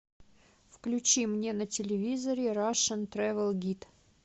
включи мне на телевизоре рашн трэвел гид